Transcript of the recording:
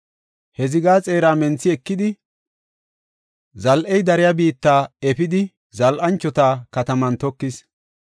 He zigaa xeera menthi ekidi, zal7ey dariya biitta efidi zal7anchota kataman tokis.